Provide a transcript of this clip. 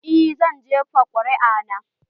Eh, zan jefa ƙuri'a na.